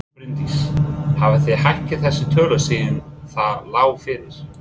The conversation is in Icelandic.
Bryndís: Hafið þið hækkað þessar tölur síðan það lá fyrir?